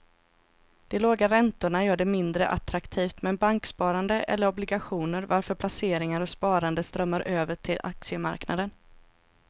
De låga räntorna gör det mindre attraktivt med banksparande eller obligationer varför placeringar och sparande strömmar över till aktiemarknaden.